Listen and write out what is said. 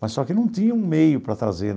Mas só que não tinha um meio para trazer.